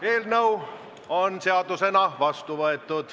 Eelnõu on seadusena vastu võetud.